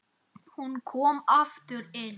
Hún kom aftur inn